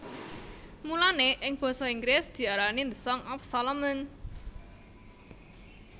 Mulané ing basa Inggris diarani The Song of Solomon